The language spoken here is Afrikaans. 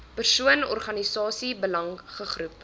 persoon organisasie belangegroep